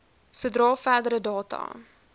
sodra verdere data